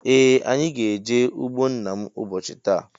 Ee anyị gá -eje ụgbọ nna mụ ụbọchị taa.